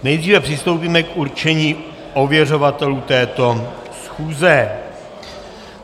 Nejdříve přistoupíme k určení ověřovatelů této schůze.